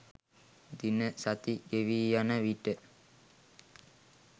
දින සති ගෙවීයන විට